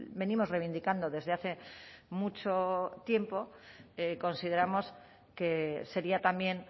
venimos reivindicando desde hace mucho tiempo consideramos que sería también